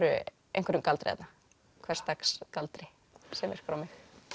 einhverjum galdri hversdags galdri sem virkar á mig